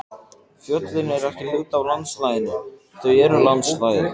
Fjöllin eru ekki hluti af landslaginu, þau eru landslagið.